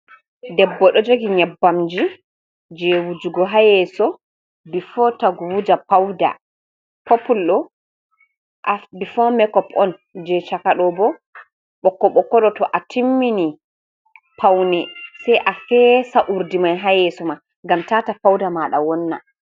Debbo do jogi nyabbamji je wujugo hayeso, bifo tagu wuja pauda popul do bifo makop on je chakadobo boko bokodo to a timmini paune sai a feesa urdi mai hayeso ma ngam tata pauda mada wonna.